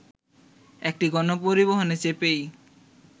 একটি গণপরিবহনে চেপেই